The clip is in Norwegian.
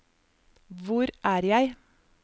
hvor er jeg